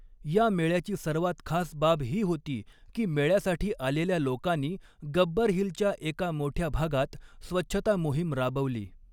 या मेळ्याची सर्वात खास बाब ही होती की मेळ्य़ासाठी आलेल्या लोकानी गब्बर हिलच्या एका मोठ्या भागात स्वच्छता मोहीम राबवली.